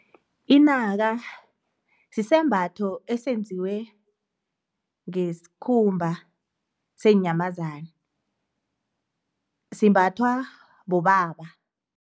Inaka, sisembatho esenziwe ngesikhumba seenyamazana, simbathwa bobaba.